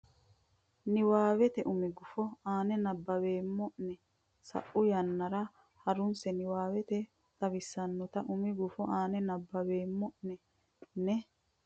niwaawennita umi gufo ani nabbaweemma o nena sa u yannara ha runse niwaawennita niwaawennita umi gufo ani nabbaweemma o nena.